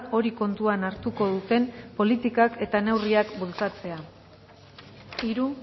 hori kontuan hartuko duten politikak eta neurriak bultzatzea hiru